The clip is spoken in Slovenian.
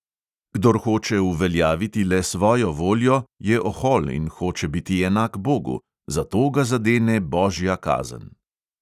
Kdor hoče uveljaviti le svojo voljo, je ohol in hoče biti enak bogu, zato ga zadene božja kazen.